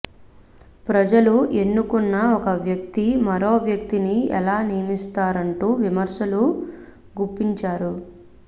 ప్రజలు ఎన్నుకున్న ఒక వ్యక్తి మరో వ్యక్తిని ఎలా నియమిస్తారంటూ విమర్శలు గుప్పించారు